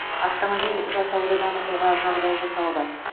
автомобиль жасауды дамытуға жағдай жасалды